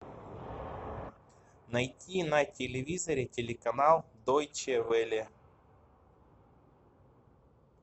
найти на телевизоре телеканал дойче велле